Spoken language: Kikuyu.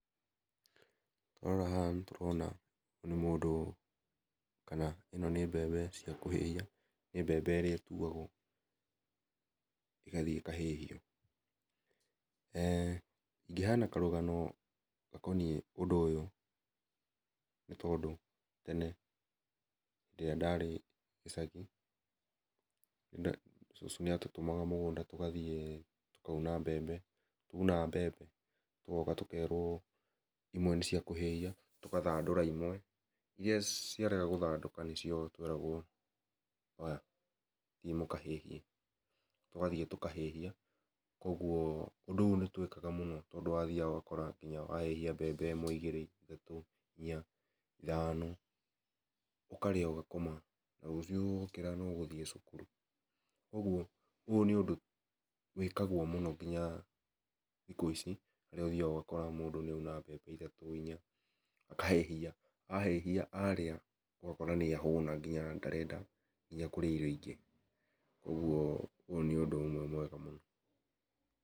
Twarora haha nĩ tũrona ũyũ nĩ mũndũ kana ĩno nĩ mbembe cia kũhĩhia nĩ mbembe ĩrĩa ĩtũagwo, ĩgathiĩ ĩkahĩhio ingĩheana karũgano gakoniĩ ũndũ ũyũ nĩ tondũ tene hĩndĩ ĩrĩa ndarĩ gĩcagi, cũcũ nĩatũtũmaga mũgũnda tũkaũne mbembe, twaũna mbembe tũgoka tũkerwo ĩmwenĩ cĩakũhĩhia tũgathandũra ĩmwe irĩa ciarega gũthandũka nĩ cio tweragwo, oya thiĩ mũkahĩhie tũgathiĩ tũkahĩhia kwoguo ũndũ ũyũ nĩ twekaga mũno tondũ nĩ wathiaga ũgakora wahĩhia mbembe ĩmwe ĩgĩrĩ thatũ inya ithano ũkarĩa ũgakoma ,na rũciũ wokĩra nĩ ũgũthiĩ cũkũrũ kwoguo ũndũ ũyũ nĩ wĩkagwo mũno nginya thikũ ici nĩ ũthĩaga ũgakora mũndũ nĩ oũna mbembe ĩthatũ inya akahĩhia ahĩhia arĩa ũkona nĩ ahũna nginya ndarenda nginya kũrĩa irio ingĩ kwoguo ũyũ nĩ ũndũ ũmwe mwega mũno.